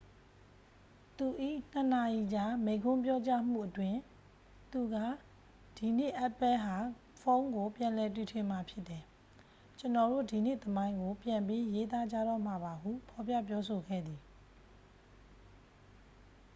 "သူ၏ ၂ နာရီကြား မိန့်ခွန်းပြောကြားမှုအတွင်း သူက "ဒီနေ့ apple ဟာ ဖုန်းကို ပြန်လည်တီထွင်မှာ ဖြစ်တယ်။ ကျွန်တော်တို့ ဒီနေ့သမိုင်းကို ပြန်ပြီးရေးသားကြတော့မှာပါ" ဟု ဖော်ပြပြောဆိုခဲ့သည်။